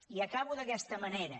i acabo d’aquesta manera